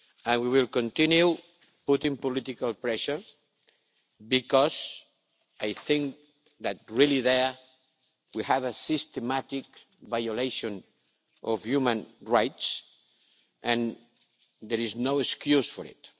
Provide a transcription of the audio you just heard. We will continue putting political pressure, because I think that there we really have a systematic violation of human rights and there is no excuse for it.